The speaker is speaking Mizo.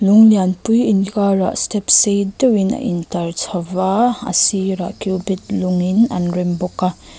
lung lianpui inkharah step sei deuhin a intlar chho a a sirah cubic lungin an rem bawka --